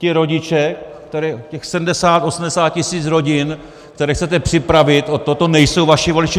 Ti rodiče, těch 70, 80 tisíc rodin, které chcete připravit o toto, nejsou vaši voliči?